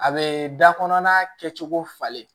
A bɛ da kɔnɔna kɛcogo falen